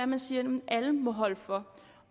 man siger at alle må holde for